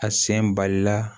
A sen balila